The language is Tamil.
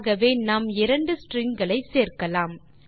ஆகவே நாம் இரண்டு ஸ்ட்ரிங் களை சேர்க்கலாம்